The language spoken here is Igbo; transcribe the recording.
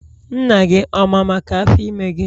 Nna gị ọ ma maka Afọ ime gị?